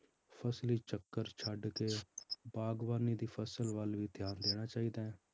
ਫਸਲੀ ਚੱਕਰ ਛੱਡਕੇ ਬਾਗ਼ਬਾਨੀ ਦੀ ਫਸਲ ਵੱਲ ਵੀ ਧਿਆਨ ਦੇਣਾ ਚਾਹੀਦਾ ਹੈ?